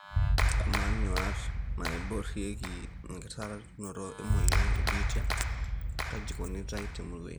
Ama, nyuat naiborieki enkitasuroto emoyian ebitia kaji eikunitae temurua ino?